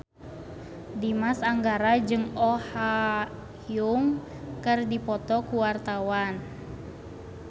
Dimas Anggara jeung Oh Ha Young keur dipoto ku wartawan